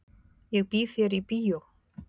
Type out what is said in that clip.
Ég býð þér í bíó.